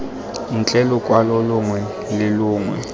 ntle lokwalo longwe le longwe